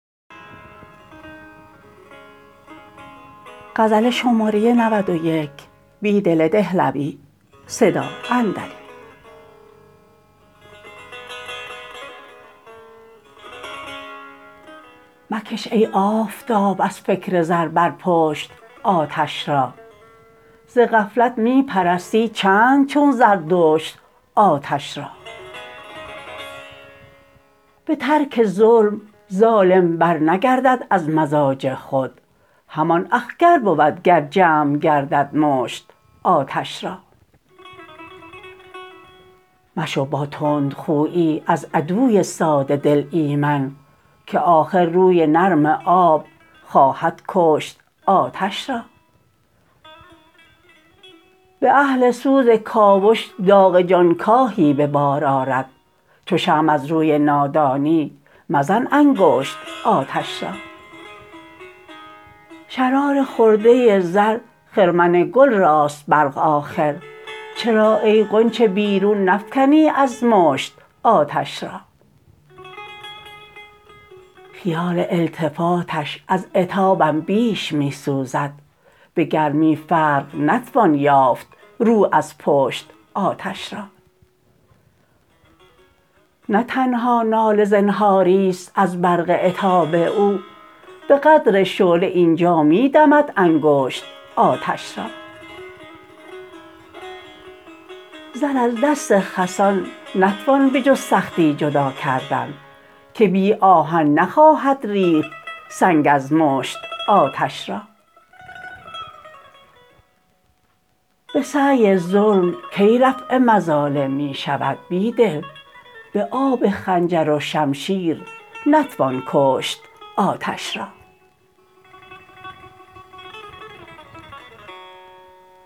مکش ای آفتاب از فکر زربرپشت آتش را ز غفلت می پرستی چند چون زردشت آتش را به ترک ظلم ظالم برنگردد از مزاج خود همان اخگر بودگر جمع گردد مشت آتش را مشو با تندخویی از عدوی ساده دل ایمن که آخرروی نرم آب خواهدکشت آتش را به اهل سوزکاوش داغ جانکاهی به بار آرد چوشمع زروی نادانی مزن انگشت آتش را شرار خرده زر خرمن گل راست برق آخر چرا ای غنچه بیرون نفکنی ازمشت آتش را خیال التفاتش از عتابم بیش می سوزد به گرمی فرق نتوان یافت روازپشت آتش را نه تنها ناله زنهاری ست از برق عتاب او به قدر شعله اینجا می دمد انگشت آتش را زر از دست خسان نتوان به جز سختی جداکردن که بی آهن نخواهد ریخت سنگ ازمشت آتش را به سعی ظلم کی رفع مظالم می شود بیدل به آب خنجروشمشیرنتوان کشت آتش را